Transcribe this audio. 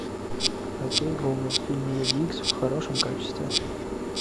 окей гугл фильм люди икс в хорошем качестве